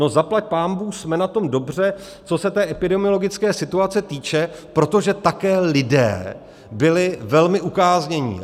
No zaplať pánbůh, jsme na tom dobře, co se té epidemiologické situace týče, protože také lidé byli velmi ukáznění.